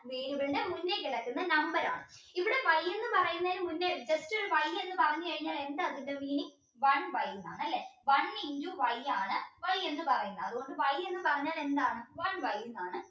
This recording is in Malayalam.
variable ന്റെ മുന്നേ കെടക്കുന്നെ number ആണ് ഇവിടെ Y എന്ന് പറയുന്നതിന് മുന്നേ just ഒരു Y എന്ന് പറഞ്ഞുകഴിഞ്ഞാൽ എന്താ അതിൻറെ meaning one y ന്ന് ആണല്ലേ one into y ആൺ Y എന്ന പറയുന്നത് അതുകൊണ്ട് Y എന്ന് പറഞ്ഞാൽ എന്താണ് one y ന്നാണ്